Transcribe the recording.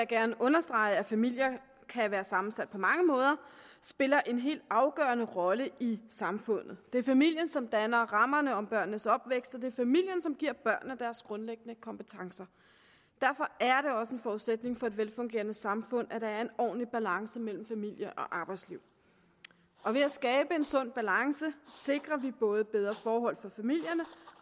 gerne understrege at familier kan være sammensat på mange måder spiller en helt afgørende rolle i samfundet det er familien som danner rammerne om børnenes opvækst og det er familien som giver børnene deres grundlæggende kompetencer derfor er det også en forudsætning for et velfungerende samfund at der er en ordentlig balance mellem familie og arbejdsliv og ved at skabe en sund balance sikrer vi både bedre forhold for familierne